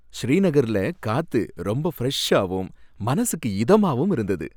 ஸ்ரீநகர்ல காத்து ரொம்ப ஃப்ரெஷாவும் மனசுக்கு இதமாவும் இருந்தது.